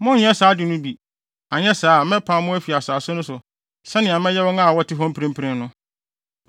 Monnyɛ saa ade no bi, anyɛ saa a, mɛpam mo afi asase no so sɛnea mɛyɛ wɔn a wɔte hɔ mprempren no.